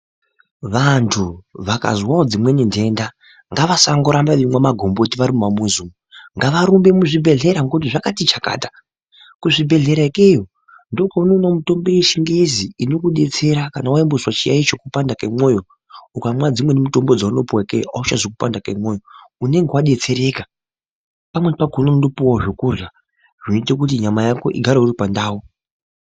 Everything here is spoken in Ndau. Vantu vakazwewo dzimweni nhenda ngavasangorambe veimwe magomboti varimumamuzi umu ngavarumbe muzvibhehlera ngekuti zvakati chakata, kuzvibhelhra ikweyo ndiko kwaunoona mitombo yechingezi inokudetsera kana waimbozwe chiyayo chekupanda kwemoyo, ukamwa dzimwe mitombo dzaunopiwe ikweyo achazwi kupanda kwemoyo, unenge wadetsereka pamweni unotopuwawo zvekurya zvinoite kuti nyama yako igare iripandau.